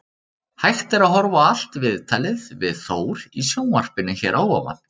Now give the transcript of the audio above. Hægt er að horfa á allt viðtalið við Þór í sjónvarpinu hér að ofan.